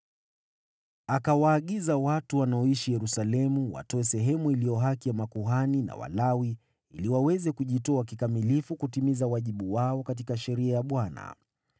Akawaagiza watu wanaoishi Yerusalemu watoe sehemu iliyo haki ya makuhani na Walawi ili waweze kujitoa kikamilifu kutimiza wajibu wao katika Sheria ya Bwana .